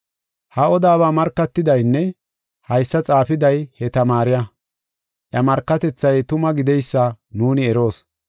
Ha odabaa markatidaynne haysa xaafiday he tamaariya. Iya markatethay tuma gideysa nuuni eroos.